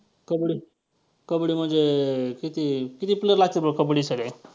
कबड्डी कबड्डी म्हणजे किती~ किती player लागत्यात बरं कबड्डीसाठी?